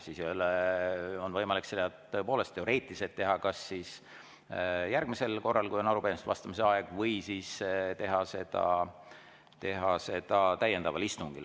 Siis on tõepoolest teoreetiliselt võimalik sellele vastata kas järgmisel korral, kui on arupärimistele vastamise aeg, või teha seda täiendaval istungil.